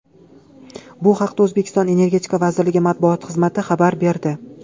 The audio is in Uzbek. Bu haqda O‘zbekiston energetika vazirligi matbuot xizmati xabar berdi .